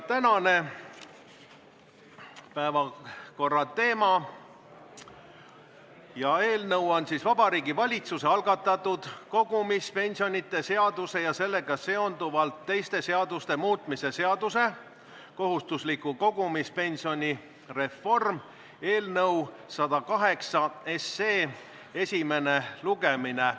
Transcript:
Tänane päevakorrateema Vabariigi Valitsuse algatatud kogumispensionide seaduse ja sellega seonduvalt teiste seaduste muutmise seaduse eelnõu 108 esimene lugemine.